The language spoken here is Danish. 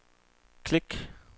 klik